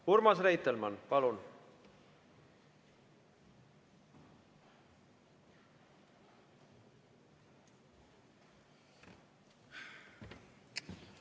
Urmas Reitelmann, palun!